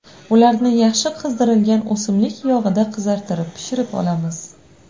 Ularni yaxshi qizdirilgan o‘simlik yog‘ida qizartirib pishirib olamiz.